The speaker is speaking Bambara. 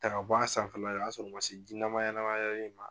Ta ka bɔ a sanfɛla la o y'a sɔrɔ o man se ji nama nama yɔrɔ ma.